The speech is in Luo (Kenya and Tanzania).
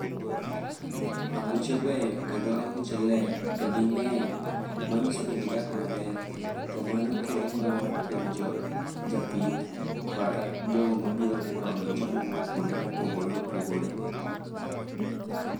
Anguche beyo kendo anguche ler, to gingény, ma nyiso ni gidak maber. To mano kelo mor kuom ja japith, kata jogo ma obiro neno anguche ma owuok kuonde ma opogore opogore.